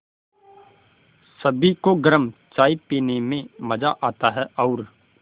सभी को गरम चाय पीने में मज़ा आता है और